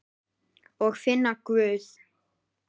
Og finna Guð.